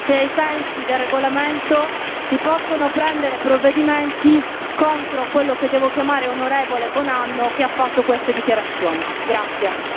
Io chiedo alla Presidenza di quest'Aula se ai sensi del regolamento si possono prendere provvedimenti contro quello che devo chiamare onorevole Buonanno che ha fatto queste dichiarazioni.